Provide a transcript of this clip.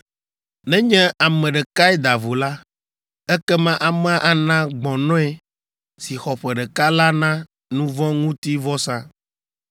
“ ‘Nenye ame ɖekae da vo la, ekema amea ana gbɔ̃nɔe si xɔ ƒe ɖeka la na nu vɔ̃ ŋuti vɔsa.